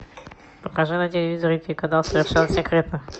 покажи на телевизоре телеканал совершенно секретно